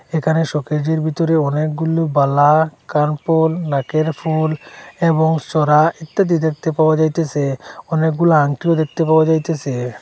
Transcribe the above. এখানে শোকেজের ভিতরে অনেকগুলো বালা কানফুল নাকের ফুল এবং সড়া ইত্যাদি দেখতে পাওয়া যাইতেসে অনেকগুলো আংটিও দেখতে পাওয়া যাইতেসে।